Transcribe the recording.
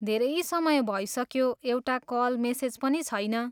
धेरै समय भइसक्यो, एउटा कल, मेसेज पनि छैन।